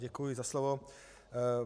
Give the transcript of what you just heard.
Děkuji za slovo.